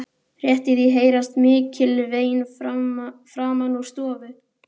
Rétt í því heyrast mikil vein framan úr stofu.